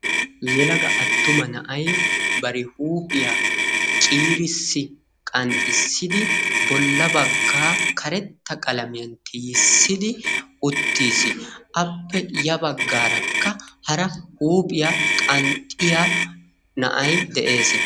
Yelaga attuma na'aay bari huuphiya ciirisi qanxxisidi bolla bagga karetta qalamiya tiyisidi uttis. Appe ya baggaaraka hara huuphiya qanxxiya na'aay de'ees.